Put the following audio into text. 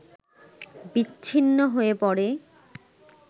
বিচ্ছিন্ন হয়ে পড়ে